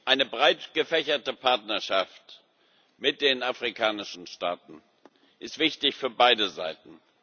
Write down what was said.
Eine breitgefächerte Partnerschaft mit den afrikanischen Staaten ist wichtig für beide Seiten.